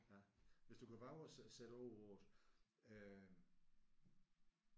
Ja hvis du kan vove at sætte ord på det øh